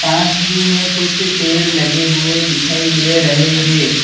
पास ही में कुछ पेड़ लगे हुए दिखाई दे रहे हैं।